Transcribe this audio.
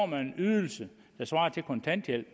man en ydelse der svarer til kontanthjælp